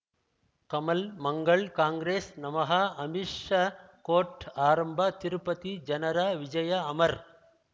ಕಮಲ್ ಮಂಗಳ್ ಕಾಂಗ್ರೆಸ್ ನಮಃ ಅಮಿಷ ಕೋರ್ಟ್ ಆರಂಭ ತಿರುಪತಿ ಜನರ ವಿಜಯ ಅಮರ್